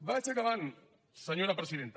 vaig acabant senyora presidenta